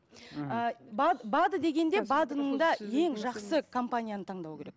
мхм бад бад ы дегенде бад ының да ең жақсы компанияны таңдау керек